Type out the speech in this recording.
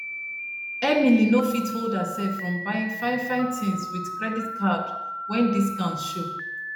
emily no fit hold herself from buying fine fine things with credit card when discount show